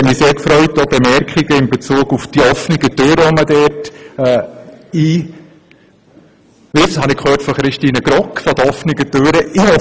Die Bemerkung in Bezug auf die offenen Türen, die man damit einrennt, hat mich sehr gefreut.